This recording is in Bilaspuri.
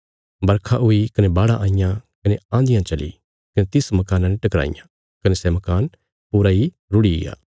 बरखा हुई कने बाढ़ां आईयां कने आँधियां चली कने तिस मकाना ने टकराईयां कने सै मकान पूरा इ रुढ़िग्या